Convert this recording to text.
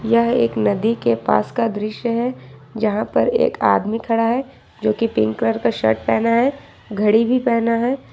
यह एक नदी के पास का दृश्य है जहां पर एक आदमी खड़ा है जो की पिंक कलर का शर्ट पहना है घड़ी भी पहना है।